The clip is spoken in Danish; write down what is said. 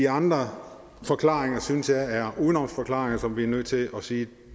andre forklaringer synes jeg er udenomsforklaringer og vi nødt til at sige